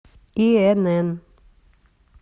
инн